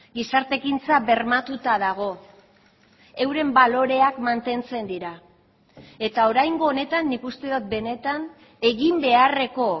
gizarte ekintza bermatuta dago euren baloreak mantentzen dira eta oraingo honetan nik uste dut benetan egin beharreko